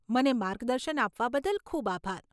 મને માર્ગદર્શન આપવા બદલ ખૂબ આભાર.